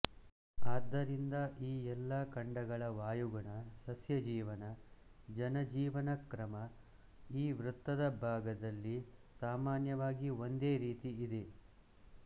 ಆದ್ದರಿಂದ ಈ ಎಲ್ಲ ಖಂಡಗಳ ವಾಯುಗುಣ ಸಸ್ಯಜೀವನ ಜನಜೀವನಕ್ರಮ ಈ ವೃತ್ತದ ಭಾಗದಲ್ಲಿ ಸಾಮಾನ್ಯವಾಗಿ ಒಂದೇ ರೀತಿ ಇದೆ